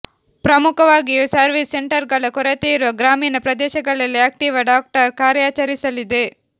ಪ್ರಮುಖವಾಗಿಯೂ service ಸೆಂಟರ್ಗಳ ಕೊರತೆಯಿರುವ ಗ್ರಾಮೀಣ ಪ್ರದೇಶಗಳಲ್ಲಿ ಆಕ್ಟಿವಾ ಡಾಕ್ಟರ್ ಕಾರ್ಯಾಚರಿಸಲಿದೆ